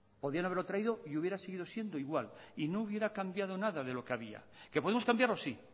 podían haberlo traído y hubiera sido siendo igual y no hubiera cambiado nada de lo que había que podemos cambiarlo sí